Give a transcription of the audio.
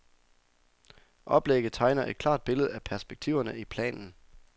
Oplægget tegner et klart billede af perspektiverne i planen.